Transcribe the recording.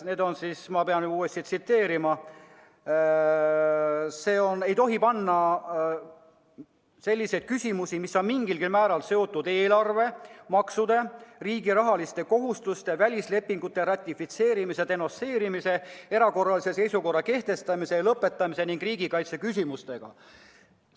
Need on – ma pean uuesti tsiteerima –, et rahvahääletusele ei tohi panna küsimusi, mis on mingilgi määral seotud eelarve, maksude, riigi rahaliste kohustuste, välislepingute ratifitseerimise ja denonsseerimise, erakorralise seisukorra kehtestamise ja lõpetamise ning riigikaitse küsimustega.